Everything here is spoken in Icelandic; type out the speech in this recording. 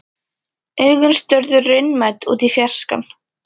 Augun störðu raunamædd út í fjarskann.